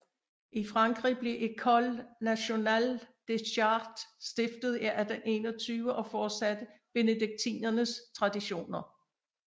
I Frankrig blev École nationale des chartes stiftet i 1821 og fortsatte benediktinernes traditioner